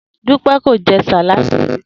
Dúpé̩ kò je̩ sáláàdì rí